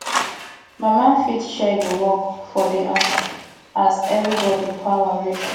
mama fit share di work for di house as everybody power reach